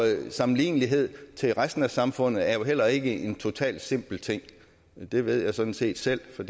sammenlignelighed til resten af samfundet er jo heller ikke en totalt simpel ting det ved jeg sådan set selv for